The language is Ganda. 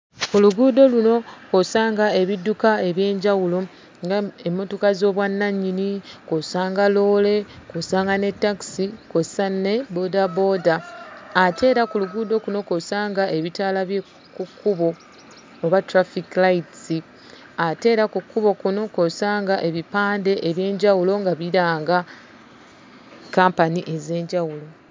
Ku luguudo luno kw'osanga ebidduka eby'enjawulo ng'emmotoka z'obwannannyini, kw'osanga loole, kw'osanga ne takisi kw'ossa nge bboodabooda. Ate era ku luguudo kuno kw'osanga ebitaala by'oku kkubo oba 'traffic lights' ate era ku kkubo kuno kw'osanga ebipande eby'enjawulo nga biranga kampani ez'enjawulo.